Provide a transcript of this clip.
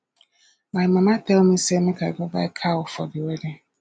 my mama tell me say make i go buy cow for the wedding